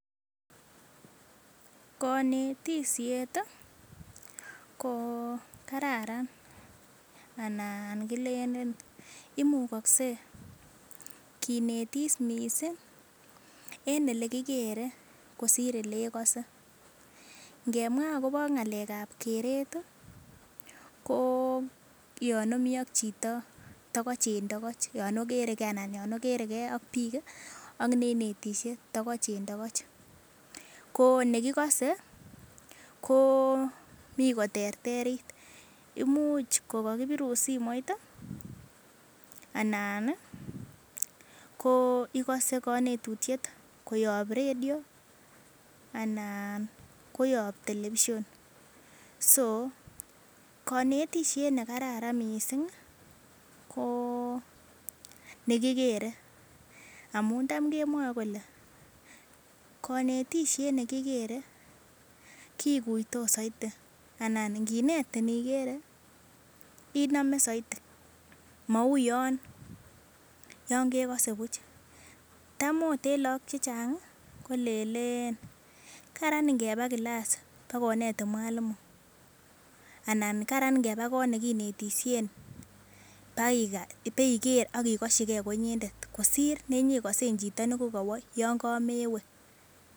Konetishet ko kararan ana kilelen imukokse kinetis mising en elekikere kosir olekose, ng'emwa ak kobo ng'alekab keret ko yoon omii ak chito tokoch en tokoch, yoon okereke anan yoon okere kee ak biik ak neinetishe tokoch en tokoch, ko nekikose ko mii koterterit imuch ko kokibirun simoit anan ko ikose konetutiet koyob redio anan koyob television, so konetishet nekararan mising ko nekikere amun taam kemwoe kolee konetishet nekikere kikuitos soiti anan ing'inetin ikere inome soiti mauu yoon kekose buch, taam oot en lokok chechang kolelen karan ing'eba kilas bakonetin mwalimu anan karan ing'eba koot nekinetishen baiker ak ikoshike konyendet kosir nenyekosen chito yoon kamewe.